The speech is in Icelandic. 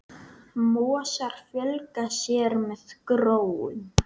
Mosar fjölga sér með gróum.